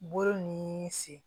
Bolo ni sen